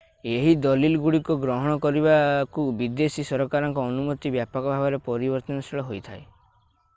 ଏହି ଦଲିଲଗୁଡ଼ିକ ଗ୍ରହଣ କରିବାକୁ ବିଦେଶୀ ସରକାରଙ୍କ ଅନୁମତି ବ୍ୟାପକ ଭାବରେ ପରିବର୍ତ୍ତନଶୀଳ ହୋଇଥାଏ i